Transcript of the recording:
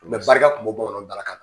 barika kun bɛ bɔ o yɔrɔ dalakan